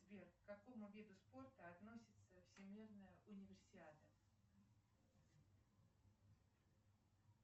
сбер к какому виду спорта относится всемирная универсиада